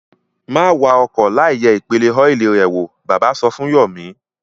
Má wa ọkọ̀ láìyẹ̀ ìpele ọ́ìlì rẹ̀ wò! Bàbá sọ fún Yọ̀mí.